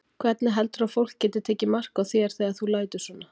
Hvernig heldurðu að fólk geti tekið mark á þér þegar þú lætur svona?